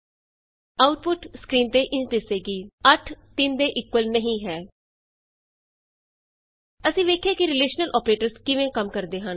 output screen ਤੇ ਇੰਝ ਦਿਸੇਗੀ160 8 3 ਦੇ ਇਕੁਅਲ ਨਹੀਂ ਹੈ ਅਸੀਂ ਵੇਖਿਆ ਕਿ ਰਿਲੇਸ਼ਨਲ ਅੋਪਰੇਟਰਸ ਕਿਵੇਂ ਕੰਮ ਕਰਦੇ ਹਨ